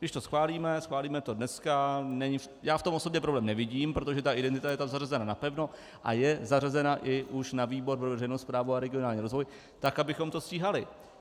Když to schválíme, schválíme to dneska, já v tom osobně problém nevidím, protože ta identita je tam zařazena napevno a je zařazena už i na výbor pro veřejnou správu a regionální rozvoj tak, abychom to stíhali.